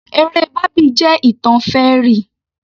Eré bábì jẹ́ ìtàn fairy